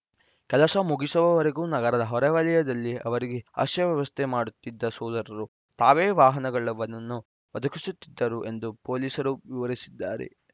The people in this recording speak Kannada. ಕೆಲಸ ಮುಗಿಸುವವರೆಗೂ ನಗರದ ಹೊರವಲಯದಲ್ಲಿ ಅವರಿಗೆ ಆಶ್ರಯ ವ್ಯವಸ್ಥೆ ಮಾಡುತ್ತಿದ್ದ ಸೋದರರು ತಾವೇ ವಾಹನಗಳನ್ನು ಒದಗಿಸುತ್ತಿದ್ದರು ಎಂದು ಪೊಲೀಸರು ವಿವರಿಸಿದ್ದಾರೆ